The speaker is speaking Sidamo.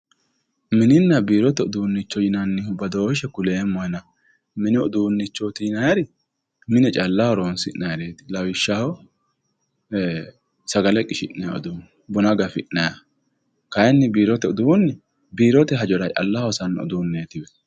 mininna biirote uduunni badooshshe kuleemmohena, mini udunnichooti yinaayihu, mine calla horonsi'nayireeti lawishshaho, sagale qishhsinayi uduunni buna gafi'nay uduunne, kayiinni biirote uduunni biirote horora calla hosanno uduunneetiwe.